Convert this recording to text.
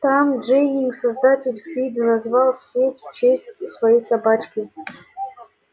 том дженнинг создатель фидо назвал сеть в честь своей собачки